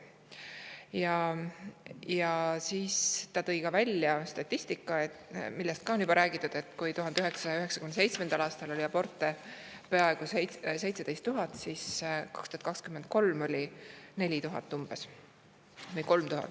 Ta tõi välja statistika – millest on ka juba räägitud –, et kui 1997. aastal oli aborte peaaegu 17 000, siis 2023. aastal umbes 4000 või 3000.